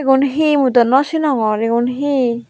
egun he mui dow nosenogor egun he.